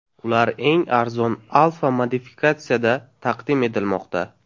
Ular eng arzon Alpha modifikatsiyasida taqdim etilmoqda.